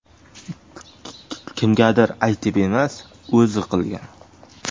Kimgadir aytib emas, o‘zi qilgan.